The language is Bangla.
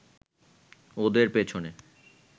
ওদের পিছনে